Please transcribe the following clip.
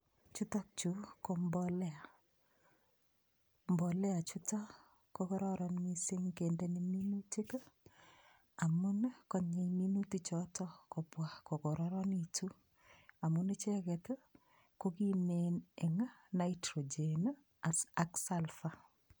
Chutukchu ko mbolea, mbolea chutok ko kororon mising kendeni minutik amu konyei minutichotiok kobwa kokororonekitu ichek kokimen mising eng nitrogen ak sulfur